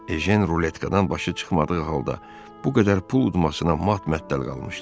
Ejen ruletkadan başı çıxmadığı halda bu qədər pul udmasına mat-məəttəl qalmışdı.